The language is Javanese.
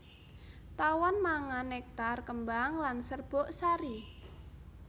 Tawon mangan nektar kembang lan serbuk sari